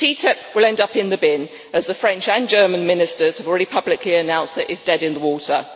TTIP will end up in the bin, as the French and German Ministers have already publicly announced that it is dead in the water.